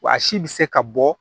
Wa si bɛ se ka bɔ